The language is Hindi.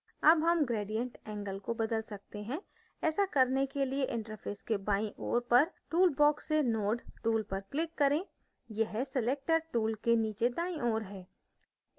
अब हम gradient angle को बदल सकते हैं ऐसा करने के लिए इंटरफैस के बाईं ओर पर tool box से node tool पर click करें यह selector tool के नीचे दाईं ओर है